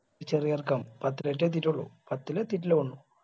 ചെറിയ ചെറുക്കൻ പത്തിലാടറ്റെ എത്തിയിട്ടുള്ളു പത്തിലു എത്തിയിട്ടില്ല തോന്നുന്നു